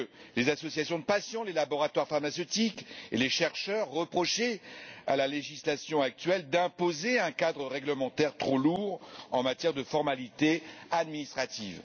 Les associations de patients, les laboratoires pharmaceutiques et les chercheurs reprochaient à la législation actuelle d'imposer un cadre réglementaire trop lourd en matière de formalités administratives.